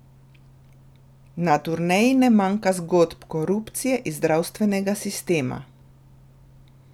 Na turneji ne manjka zgodb korupcije iz zdravstvenega sistema.